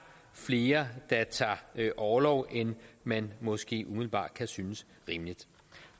flere der tager orlov end man måske umiddelbart kan synes rimeligt